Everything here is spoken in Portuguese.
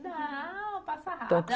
Não, passa rápido.